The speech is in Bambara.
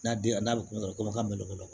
N'a den a n'a bɛ kungo kɔnɔ komi ka malo